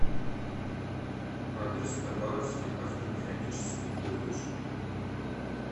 адрес хабаровский автомеханический колледж